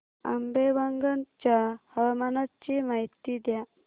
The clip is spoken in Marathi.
आंबेवंगन च्या हवामानाची माहिती द्या